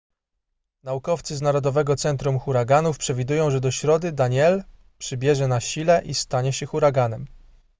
naukowcy z narodowego centrum huraganów przewidują że do środy danielle przybierze na sile i stanie się huraganem